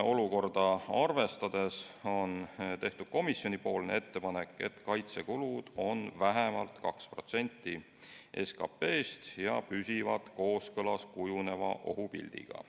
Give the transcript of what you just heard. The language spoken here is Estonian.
Olukorda arvestades on komisjoni teinud ettepaneku, et kaitsekulud oleksid vähemalt 2% SKP-st ja püsiksid kooskõlas kujuneva ohupildiga.